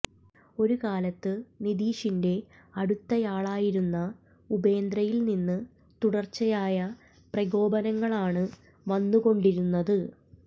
ഒരു കാലത്ത് നിതീഷിന്റെ അടുത്തയാളായിരുന്ന ഉപേന്ദ്രയിൽ നിന്ന് തുടർച്ചയായ പ്രകോപനങ്ങളാണ് വന്നുകൊണ്ടിരുന്നത്